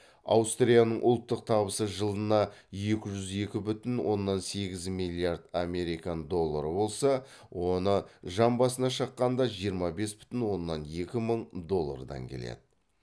аустрияның ұлттық табысы жылына екі жүз екі бүтін оннан егіз миллиард американ доллары болса оны жан басына шаққанда жиырма бес бүтін оннан екі мың долллардан келеді